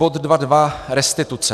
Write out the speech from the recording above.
Bod 2.2 Restituce.